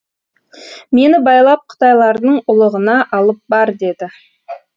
мені байлап қытайлардың ұлығына алып бар деді